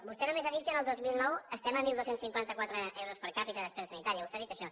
vostè només ha dit que el dos mil nou estem a dotze cinquanta quatre euros per capita de despesa sanitària vostè ha dit això